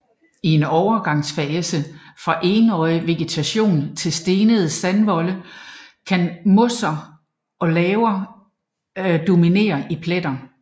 I en overgangsfase fra Enårig vegetation på stenede strandvolde kan mosser og laver dominere i pletter